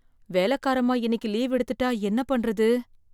வேலக்காரம்மா இன்னைக்கு லீவ் எடுத்துட்டா என்ன பண்றது?